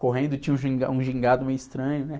Correndo, tinha um ginga, um gingado meio estranho, né?